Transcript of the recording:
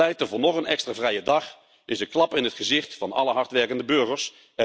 Pleiten voor nog een extra vrije dag is een klap in het gezicht van alle hardwerkende burgers.